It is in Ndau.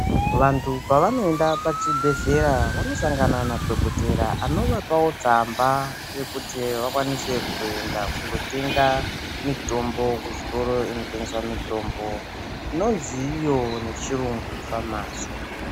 Vantu pavanoenda pachibhedhlera vanosangana nadhokotera anovapawo tsamba yekuti vakwanise kuzoenda kunotenga mitombo kuzvitoro zvinotengesa mitombo inonzi iyo kuchirungu famasi.